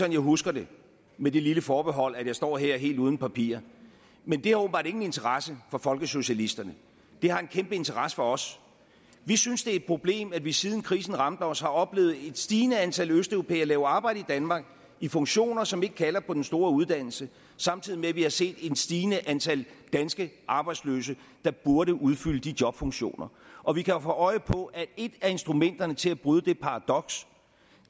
jeg husker det med det lille forbehold at jeg står her helt uden papirer men det har åbenbart ingen interesse for folkesocialisterne det har en kæmpe interesse for os vi synes det er et problem at vi siden krisen ramte os har oplevet et stigende antal østeuropæere lave arbejde i danmark i funktioner som ikke kalder på den store uddannelse samtidig med at vi har set et stigende antal danske arbejdsløse der burde udfylde de jobfunktioner og vi kan jo få øje på at et af instrumenterne til at bryde det paradoks